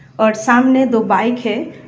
और सामने दो बाइक है।